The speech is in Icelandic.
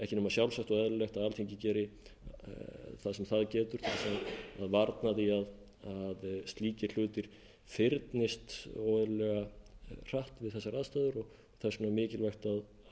að alþingi geri það sem á getur til að varna því að slíkir hlutir fyrnist óeðlilega hratt við þessar aðstæður og þess vegna er mikilvægt að háttvirta